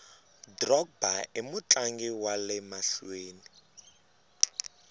drogba imutlangi wale mahluveni